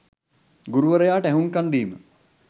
ගුරුවරයාට ඇහුම්කන් දීම,